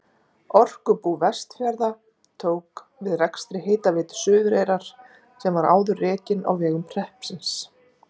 Orkubú Vestfjarða tók við rekstri Hitaveitu Suðureyrar sem var áður rekin á vegum hreppsins.